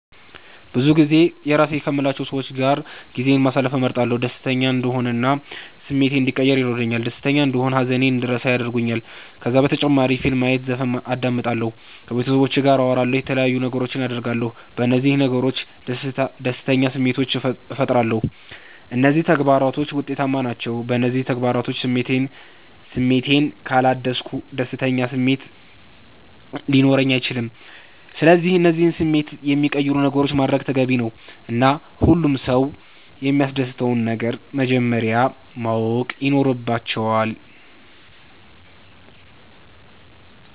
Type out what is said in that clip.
ብዙጊዜ የራሴ ከምላቸዉ ሰዎች ጋር ጊዜ ማሰለፍን እመርጣለሁ። ደሰተኛ እንድሆን እና ስሜቴ እንዲቀየር ያደርገኛል ደስተና እንደሆን ሃዘኔን እንድረሳ ያረጉኛል። ከዛ በተጨማሪ ፊልም ማየት ዘፈን አዳምጣለሁ። ከቤተሰቦቼ ጋር አወራለሁ የተለያዩ ነገሮች አደርጋለሁ። በነዚህ ነገሮች ደስተኛ ስሜቶችን ፈጥራለሁ። እነዚህ ተግባራቶች ዉጤታማ ናቸዉ። በእነዚህ ተግባራቶች ስሜቴን ካላደስኩ ደስተኛ ስሜት ሊኖረኝ አይችልም። ስለዚህ እነዚህን ስሜቴን የሚቀይሩ ነገሮችን ማድረግ ተገቢ ነዉ እና ሁሉም ሰዉ የሚያሰደስተዉን ነገር መጀመረያ ማወቅ ይኖረባቸዋል